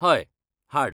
हय, हाड.